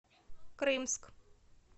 крымск